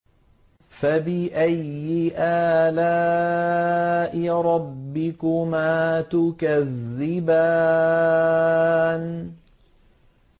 فَبِأَيِّ آلَاءِ رَبِّكُمَا تُكَذِّبَانِ